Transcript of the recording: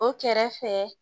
O kɛrɛfɛ